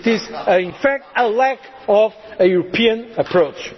much integration it is in fact the lack of a